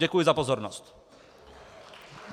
Děkuji za pozornost.